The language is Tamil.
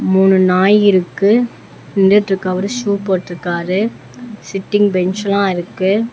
மூணு நாய் இருக்கு நின்னுட்ருக்கவரு ஷூ போட்ருக்காரு சிட்டிங் பெஞ்செல்லா இருக்கு.